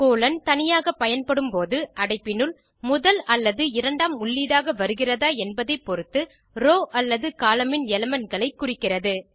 colon தனியாக பயன்படும் போது அடைப்பினுள் முதல் அல்லது இரண்டாம் உள்ளீடாக வருகிறதா என்பதைப்பொருத்து ரோவ் அல்லது கோலம்ன் ன் elementகளை குறிக்கிறது